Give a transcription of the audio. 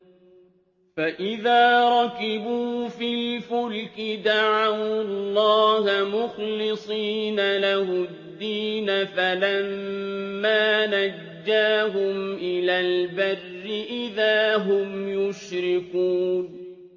فَإِذَا رَكِبُوا فِي الْفُلْكِ دَعَوُا اللَّهَ مُخْلِصِينَ لَهُ الدِّينَ فَلَمَّا نَجَّاهُمْ إِلَى الْبَرِّ إِذَا هُمْ يُشْرِكُونَ